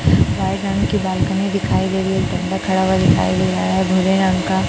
side की balcony दिखाई दे रही है एक बंदा खड़ा हुआ दिखाई दे रहा है गोरे रंग का--